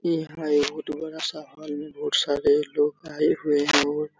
ये है बहुत बड़ा-सा हाल में बहुत सारे लोग आए हुए है और --